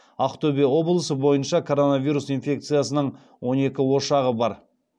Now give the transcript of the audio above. ақтөбе облысы бойынша коронавирус инфекциясының он екі ошағы бар